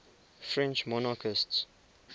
french monarchists